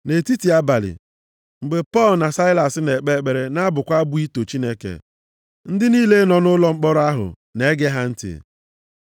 Nʼetiti abalị, mgbe Pọl na Saịlas na-ekpe ekpere na-abụkwa abụ ito Chineke, ndị niile nọ nʼụlọ mkpọrọ ahụ na-ege ha ntị.